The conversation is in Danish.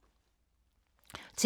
TV 2